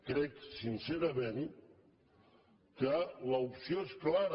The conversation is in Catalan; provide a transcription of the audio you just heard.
crec sincerament que l’opció és clara